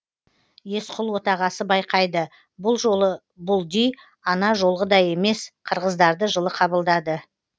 есқұл отағасы байқайды бұл жолы бұлди ана жолғыдай емес қырғыздарды жылы қабылдады